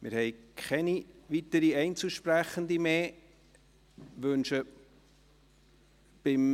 Wir haben keine weiteren Einzelsprecherinnen mehr auf der Liste.